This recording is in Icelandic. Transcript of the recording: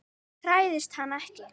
Hræðist hana ekki.